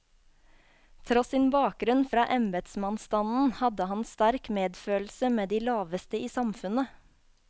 Tross sin bakgrunn fra embetsmannsstanden, hadde han sterk medfølelse med de laveste i samfunnet.